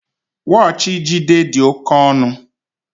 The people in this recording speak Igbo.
Wọọchi Jide dị oke ọnụ